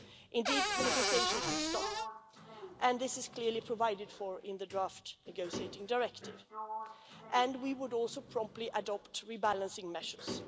Indeed, the negotiations would stop that is clearly provided for in the draft negotiating directive and we would also promptly adopt rebalancing measures.